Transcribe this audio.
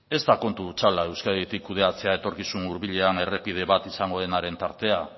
ez da kontu hutsala euskadik kudeatzea etorkizun hurbilean errepide bat izango denaren tartea